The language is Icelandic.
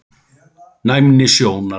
Næmni sjónar